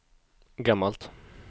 gammalt